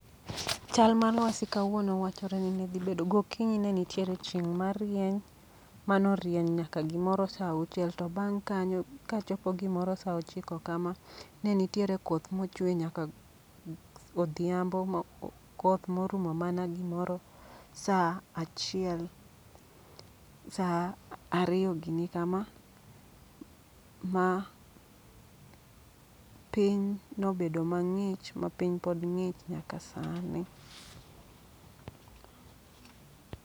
Chal mar lwasi kawuono wachore ni ne dhi bedo, gokinyi ne nitiere chieng' marieny ma norieny nyaka gimoro sa auchiel. To bang' kanyo ka chopo gimor sa ochiko kama, ne nitiere koth mochwe nyaka odhiambo. Koth morumo mana gimoro sa achiel, sa ariyo gini kama. Ma piny nobedo mang'ich ma piny pod ng'ich nyaka sani.